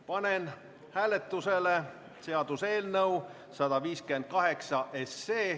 Panen hääletusele seaduseelnõu 158.